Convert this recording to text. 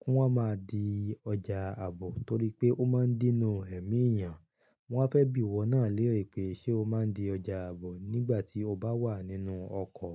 kí wọ́n máa di ọjà àbò torí pé ó máa ń dínú ẹ̀mí èèyàn. Wọ́n fẹ́ bí ìwọ náà léèrè pé ṣe o máa ń di ọjà àbò nígbà tí o bá wà nínú ọkọ̀?